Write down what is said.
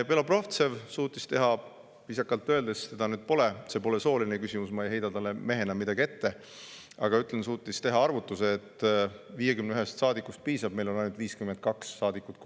Belobrovtsev suutis teha viisakalt öeldes – teda nüüd pole, see pole sooline küsimus, ma ei heida talle mehena midagi ette – arvutuse, et 51 saadikust piisab, koalitsioonis on ainult 52 saadikut.